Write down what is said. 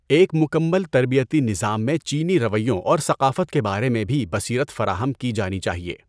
ایک مکمل تربیتی نظام میں چینی رویوں اور ثقافت کے بارے میں بھی بصیرت فراہم کی جانی چاہیے۔